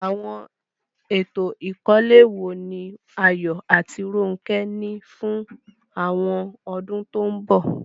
Àwọn ètò ìkọ́lé wo ni Ayo àti Ronke ní fún àwọn ọdún tó ń bọ̀?